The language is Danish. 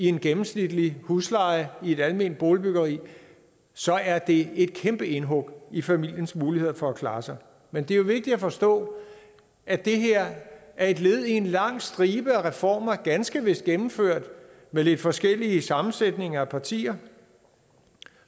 en gennemsnitlig husleje i et alment boligbyggeri så er det et kæmpe indhug i familiens muligheder for at klare sig men det er jo vigtigt at forstå at det her er et led i en lang stribe af reformer ganske vist gennemført med lidt forskellige sammensætninger af partier